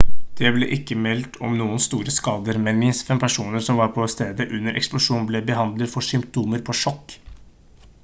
det ble ikke meldt om noen store skader men minst fem personer som var på stedet under eksplosjonen ble behandlet for symptomer på sjokk